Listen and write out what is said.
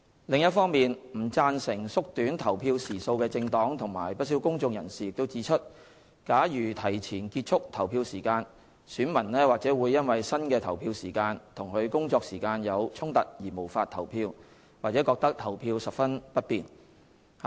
另一方面，不贊成縮短投票時數的政黨及不少公眾人士指出假如提前結束投票時間，選民或會因新的投票時間與其工作時間有衝突而無法投票，或覺得投票十分不便。